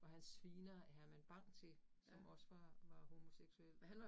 Hvor han sviner Herman Bang, som også var var homoseksuel